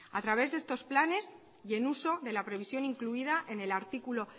a través de estos planes y en uso de la previsión incluida en el artículo